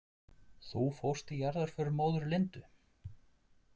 Þú fórst í jarðarför móður Lindu?